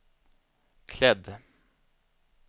klädd